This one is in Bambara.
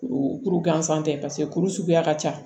Kuru kuru gansan tɛ paseke kuru suguya ka ca